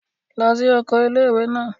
Lọ sí oko ilé-ìwé náà!